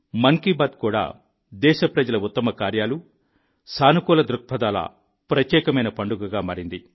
మన్ కీ బాత్ కూడా దేశప్రజల ఉత్తమ కార్యాలు సకారాత్మకతల ప్రత్యేకమైన పండుగగా మారింది